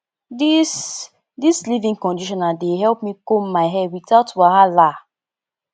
dis dis leavein conditioner dey help me comb my hair witout wahala